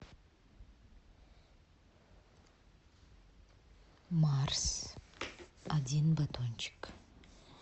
марс один батончик